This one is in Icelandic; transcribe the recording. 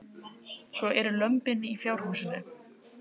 Magnús: Svo eru lömbin í fjárhúsinu?